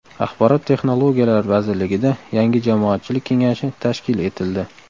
Axborot texnologiyalari vazirligida yangi jamoatchilik kengashi tashkil etildi.